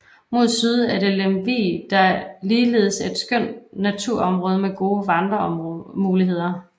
Mod syd er det Lem vig der ligeledes et et skønt naturområde med gode vandremuligheder